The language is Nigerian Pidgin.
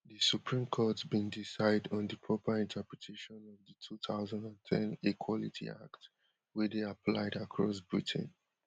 di supreme court bin decide on di proper interpretation of di two thousand and ten equality act wey dey applied across britain